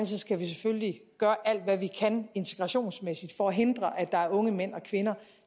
skal vi selvfølgelig gøre alt hvad vi kan integrationsmæssigt for at hindre at der er unge mænd og kvinder